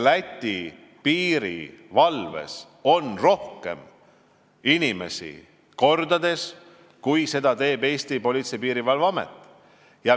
Läti piirivalves on mitu korda rohkem inimesi kui Eesti Politsei- ja Piirivalveametis.